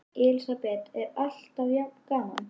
Elísabet: Og alltaf jafn gaman?